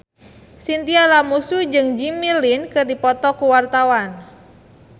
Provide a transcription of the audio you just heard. Chintya Lamusu jeung Jimmy Lin keur dipoto ku wartawan